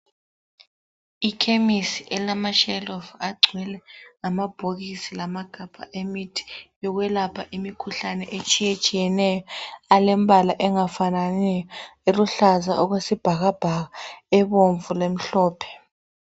Ikhemisi elamashelufu agcwele amabhokisi lamagabha emithi yokwelapha imikhuhlane etshiyetshiyeneyo. Alembala engafananiyo eluhlaza okwesibhakabhaka, ebomvu lemhlophe.